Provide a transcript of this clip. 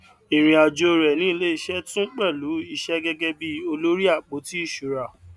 irin ajo re ni ileise tun pelu iṣẹ gẹgẹ bíi olórí àpótí ìṣura